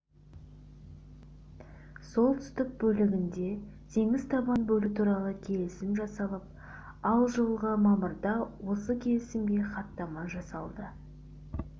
солтүстік бөлігіндегі теңіз табанын бөлу туралы келісім жасалып ал жылғы мамырда осы келісімге хаттама жасалды